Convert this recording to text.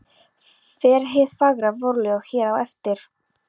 Fer hið fagra vorljóð hér á eftir.